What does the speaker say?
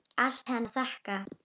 Allt henni að þakka.